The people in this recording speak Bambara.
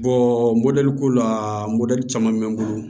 mɔdɛliko la modɛli caman bɛ n bolo